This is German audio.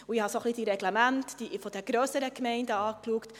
Ich habe die Reglemente der grösseren Gemeinden angeschaut.